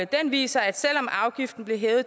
den viser at selv om afgiften blev hævet i